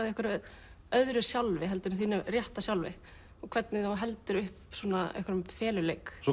einhverju öðru sjálfi heldur en þínu rétta sjálfi og hvernig þú heldur upp einhverjum feluleik svo